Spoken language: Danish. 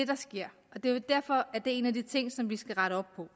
der sker det er derfor at det er en af de ting som vi skal rette op på